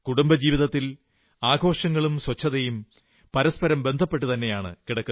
കുടുംബജീവിതത്തിൽ ആഘോഷങ്ങളും ശുചിത്വവും പരസ്പരം ബന്ധപ്പെട്ടതു തന്നെയാണ്